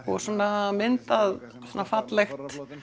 og svona myndað fallegt